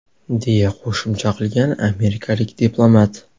deya qo‘shimcha qilgan amerikalik diplomat.